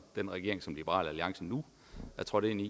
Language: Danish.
den regering som liberal alliance nu er trådt ind i